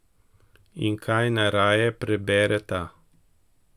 In kaj najraje prebereta?